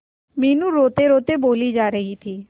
मीनू रोतेरोते बोली जा रही थी